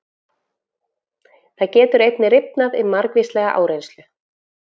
Það getur einnig rifnað við margvíslega áreynslu.